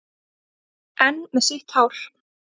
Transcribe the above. Enn með sítt hár.